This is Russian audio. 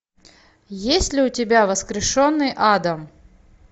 есть ли у тебя воскрешенный адам